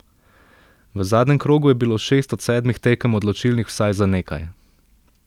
V zadnjem krogu je bilo šest od sedmih tekem odločilnih vsaj za nekaj.